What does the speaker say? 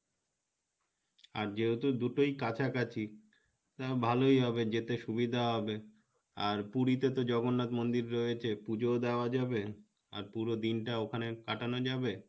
আর যেহেতু দুটোই কাছাকাছি তা ভালোই হবে যেতে সুবিধা হবে আর পুরি তে তো জগন্নাথ মন্দির রয়েছে পুজোও দেওয়া যাবে আর পুরো দিনটা ওখানে কাটানো যাবো,